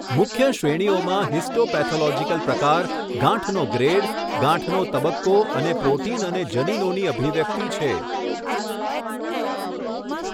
મુખ્ય શ્રેણીઓમાં હિસ્ટોપેથોલોજીકલ પ્રકાર, ગાંઠનો ગ્રેડ, ગાંઠનો તબક્કો અને પ્રોટીન અને જનીનોની અભિવ્યક્તિ છે.